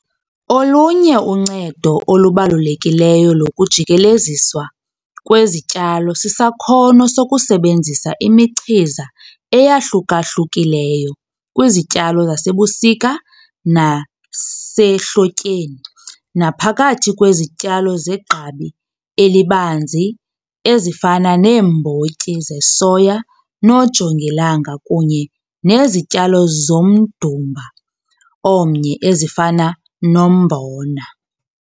Olunye uncedo olubalulekileyo lokujikeleziswa kwezityalo sisakhono sokusebenzisa imichiza eyahluka-hlukileyo kwizityalo zasebusika nasehlotyeni naphakathi kwezityalo zegqabi elibanzi ezifana neembotyi zesoya noojongilanga kunye nezityalo zomdumba omnye ezifana nombona.